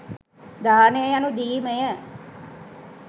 දානය යනු දීමය.